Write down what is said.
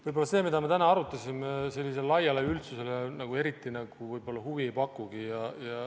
Võib-olla see, mida me täna arutasime, sellisele laiale üldsusele eriti huvi ei pakugi.